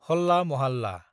हल्ला महाल्ला